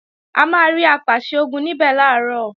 A máa rí Apàṣẹ-Ogun níbẹ̀ làárọ̀